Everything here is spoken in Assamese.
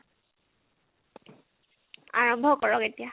আৰম্ভ কৰক এতিয়া